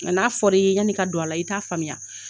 Nka n'a fɔra i ye yani i ka don a la i t'a faamuya